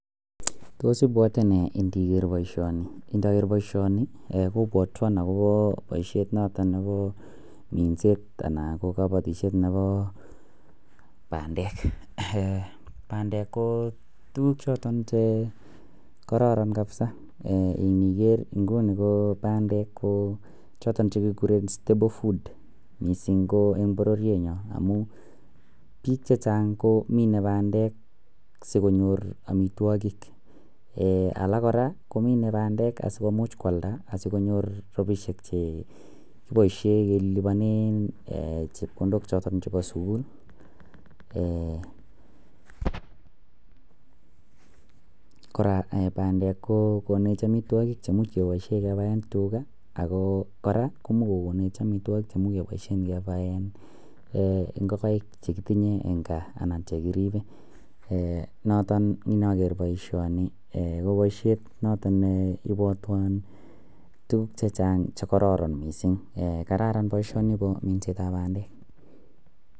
Tos ibwote nee ndiger boisioni ndoger boishoni eeh kobwotwon ee agopo boishet noton nebo minset ana ko kobotishet nebo bandek eeh bandek ko tukuk choton chee kororon kabisa ee ndiger inguni ko bandek ko joton ko chekikuren stable food missing ko en bororyenyon amun bik chechang ko mine bandek sikonyor amitwokik. Eeeh alak koraa komine bandek asikomuch kwalda asikonyor rabishek chee kiboishen kelibone eeh chepkondok choton chebo sukul eeh kora ee bandek kokonej amitwokik chemuj keboishen kebaen tugaa agoo Koraa komuch kokonej amitwokik chemuj keboishen kebaen ee ingogaik chekotinye en kaa anan chekiribe even noton ndoger boishoni eeh boishet noton neibwoteo tukuk chekokon missing ee kararan boishoni missing nebo minset tab bandek.